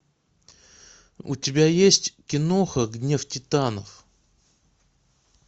у тебя есть киноха гнев титанов